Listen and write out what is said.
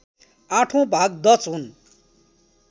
आठौँ भाग डच हुन्